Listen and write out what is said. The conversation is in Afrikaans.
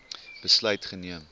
besluit geneem